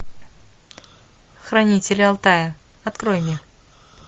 хранители алтая открой мне